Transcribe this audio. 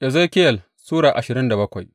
Ezekiyel Sura ashirin da bakwai